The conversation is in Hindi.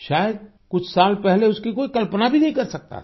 शायद कुछ साल पहले उसकी कोई कल्पना भी नहीं कर सकता था